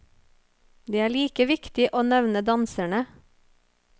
Det er like viktig å nevne danserne.